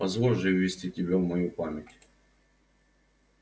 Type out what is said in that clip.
позволь же ввести тебя в мою память